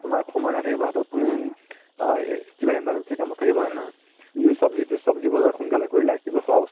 তুমাৰ সময় নাথাকিব হাতত আ কিবা emergency কামত থাকিব হয় ন নহয় সব্জিতো সব্জি বজাৰ সোনকালে কৰিলা কিবা খোৱা